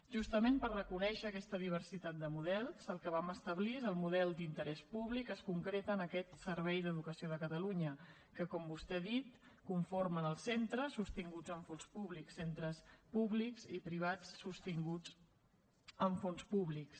justament per reconèixer aquesta diversitat de models el que vam establir és el model d’interès públic que es concreta en aquest servei d’educació de catalunya que com vostè ha dit conformen els centres sostinguts amb fons públics centres públics i privats sostinguts amb fons públics